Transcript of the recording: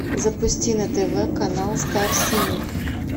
запусти на тв канал стар синема